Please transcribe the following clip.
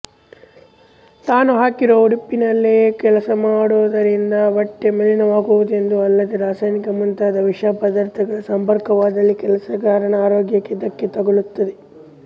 ತಾನು ಹಾಕಿರುವ ಉಡುಪಿನಲ್ಲೇ ಕೆಲಸಮಾಡುವುದರಿಂದ ಬಟ್ಟೆ ಮಲಿನವಾಗುವುದೊಂದೇ ಅಲ್ಲದೆ ರಾಸಾಯನಿಕ ಮುಂತಾದ ವಿಷಪದಾರ್ಥಗಳ ಸಂಪರ್ಕವಾದಲ್ಲಿ ಕೆಲಸಗಾರನ ಆರೋಗ್ಯಕ್ಕೆ ಧಕ್ಕೆ ತಗಲುತ್ತದೆ